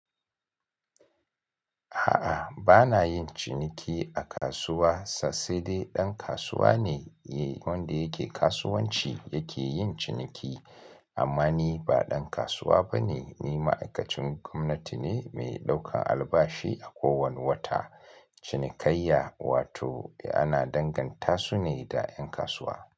A'a bana yin ciniki a kasuwa sassaɗe ɗan kasuwa ne wanda yake kasuwanci yake yin ciniki amma ni ba ɗan kasuwa bane ni ma'aikacin gwamnati ne mai ɗaukan albashi a kowane wata. Cinikaiya wato ana danganta su ne da ƴan kasuwa.